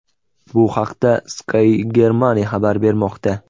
Bu haqda Sky Germany xabar bermoqda .